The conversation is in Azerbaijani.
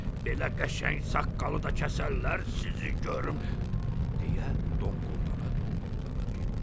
Belə qəşəng saqqalı da kəsərlər sizi görüm deyə donquldana-donquldana getdi.